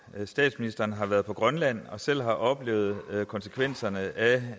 at statsministeren har været på grønland og selv har oplevet konsekvenserne